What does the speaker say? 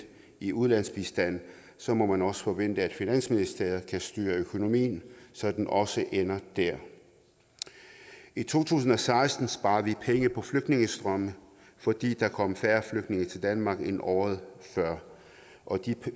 i ulandsbistand så må man også forvente at finansministeriet kan styre økonomien så den også ender dér i to tusind og seksten sparede vi penge på flygtningestrømme fordi der kom færre flygtninge til danmark end året før og de